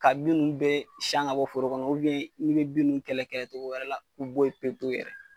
Ka bin nun bɛɛ san ŋ'a bɔ foro kɔnɔ n'i be ninnu kɛlɛ kɛ togo wɛrɛ la u bo ye pepewu yɛrɛ.